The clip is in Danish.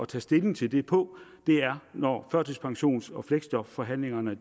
tage stilling til det på er når førtidspensions og fleksjobforhandlingerne er